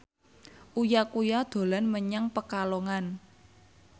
Uya Kuya dolan menyang Pekalongan